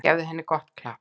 Gefið henni gott klapp.